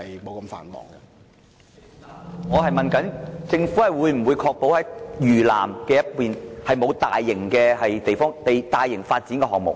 主席，我是問政府會否確保不會在嶼南進行大型發展項目。